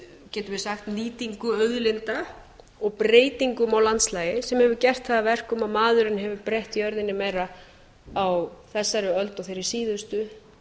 getum við sagt nýtingu auðlinda og breytingu má landslagi sem hefur gert það að verkum að maðurinn hefur breytt jörðinni meira á þessari öld og hinni síðustu